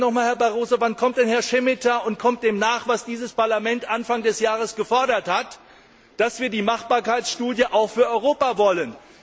Und bitte nochmals, Herr Barroso Wann kommt denn Herr Šemeta dem nach, was dieses Parlament Anfang des Jahres gefordert hat, dass wir die Machbarkeitsstudie auch für Europa wollen?